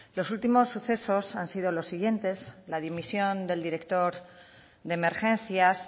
los últimos sucesos han sido los siguientes la dimisión del director de emergencias